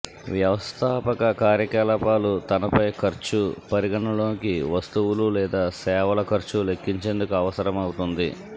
వ్యవస్థాపక కార్యకలాపాలు తనపై ఖర్చు పరిగణనలోకి వస్తువులు లేదా సేవల ఖర్చు లెక్కించేందుకు అవసరమవుతుంది